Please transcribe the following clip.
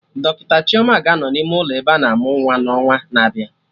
Dọkịta Chioma ga-anọ n'ime ụlọ ebe ana amụ nwa n'ọnwa na-abịa